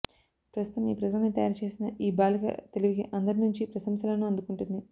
ప్రస్తుతం ఈ పరికరాన్ని తయారుచేసిన ఈ బాలిక తెలివికి అందరి నుంచి ప్రశంసలను అందుకుంటుంది